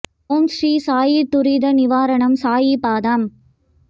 ஓம் ஸ்ரீ சாயி துரித நிவாரணம் சாயி பாதம்